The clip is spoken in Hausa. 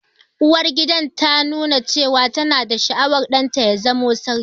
Uwargidan ta nuna cewa ta na da sha'awar ɗan ta ya zamo sarki